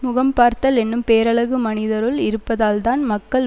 முகம் பார்த்தல் என்னும் பேரழகு மனிதருள் இருப்பதால்தான் மக்கள்